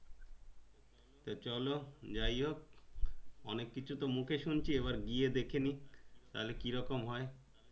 তো চলো যাই হোক অনেক কিছু তো মুখে শুনছি এইবার গিয়ে দেখেনি তাহলে কি রকম হয়